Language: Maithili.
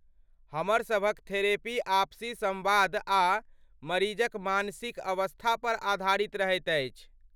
हमर सभक थेरेपी आपसी सम्वाद आ मरीजक मानसिक अवस्थापर आधारित रहैत अछि।